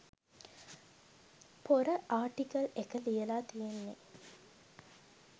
පොර ආර්ටිකල් එක ලියලා තියෙන්නේ.